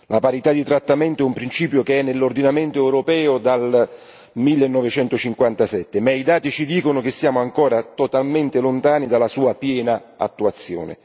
La parità di trattamento è un principio che è nell'ordinamento europeo dal 1957, ma i dati ci dicono che siamo ancora totalmente lontani dalla sua piena attuazione.